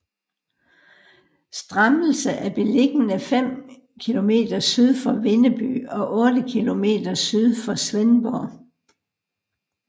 Strammelse er beliggende fem kilometer syd for Vindeby og otte kilometer syd for Svendborg